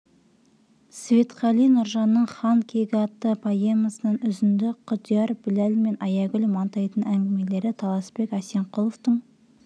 светқали нұржанның хан кегі атты поэмасынан үзінді құдияр біләл мен аягүл мантайдың әңгімелері таласбек әсемқұловтың